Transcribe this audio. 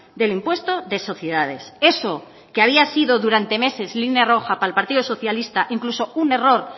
del impuesto de sociedades eso que había sido durante meses línea roja para el partido socialista incluso un error